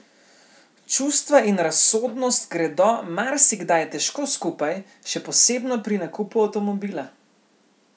Čustva in razsodnost gredo marsikdaj težko skupaj, še posebno pri nakupu avtomobila.